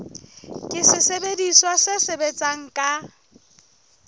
ke sesebediswa se sebetsang ka